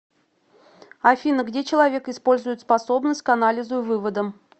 афина где человек использует способность к анализу и выводам